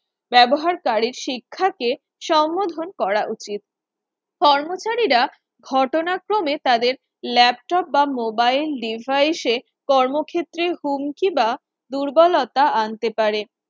ব্যবহারকারীর শিক্ষাকে সম্মোধন করা উচিত কর্মচারীরা ঘটনাক্রমে তাদের Laptop বা mobile devise এ কর্মক্ষেত্রে হুমকি বা দুর্বলতা আনতে পারে